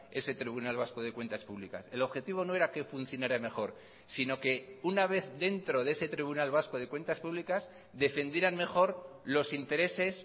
ese tribunal vasco de cuentas públicas el objetivo no era que funcionara mejor sino que una vez dentro de ese tribunal vasco de cuentas públicas defendieran mejor los intereses